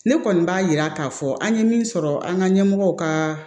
Ne kɔni b'a yira k'a fɔ an ye min sɔrɔ an ka ɲɛmɔgɔw ka